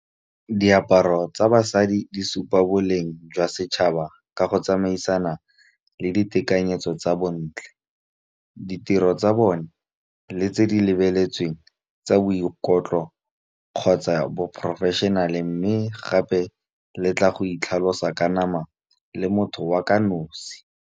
Diaparo tsa basadi di supa boleng jwa setšhaba ka go tsamaisana le ditekanyetso tsa bontle. Ditiro tsa bone le tse di lebeletsweng tsa boikotlo kgotsa bo professional-e mme gape le tla go itlhalosa ka nama le motho wa ka nosi.